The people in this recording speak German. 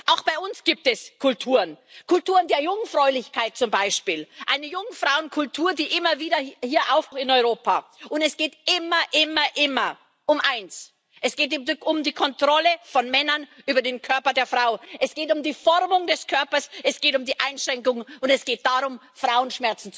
Auch bei uns gibt es Kulturen, Kulturen der Jungfräulichkeit zum Beispiel, eine Jungfrauenkultur, die immer wieder auch in Europa aufploppt. Es geht immer, immer, immer um eins Es geht um die Kontrolle von Männern über den Körper der Frau, es geht um die Formung des Körpers, es geht um die Einschränkung, und es geht darum, Frauen Schmerzen zuzufügen.